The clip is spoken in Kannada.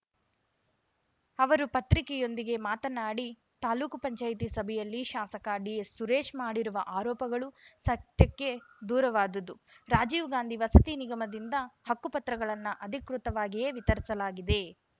ಅವರು ಪತ್ರಿಕೆಯೊಂದಿಗೆ ಮಾತನಾಡಿ ತಾಲೂಕು ಪಂಚಾಯತಿ ಸಭೆಯಲ್ಲಿ ಶಾಸಕ ಡಿಎಸ್‌ಸುರೇಶ್‌ ಮಾಡಿರುವ ಆರೋಪಗಳು ಸತ್ಯಕ್ಕೆ ದೂರವಾದುದು ರಾಜೀವ್‌ ಗಾಂಧಿ ವಸತಿ ನಿಗಮದಿಂದ ಹಕ್ಕುಪತ್ರಗಳನ್ನು ಅಧಿಕೃತವಾಗಿಯೇ ವಿತರಿಸಲಾಗಿದೆ